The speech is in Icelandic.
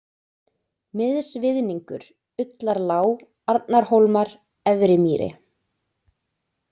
Miðsviðningur, Ullarlág, Arnarhólmar, Efri-Mýri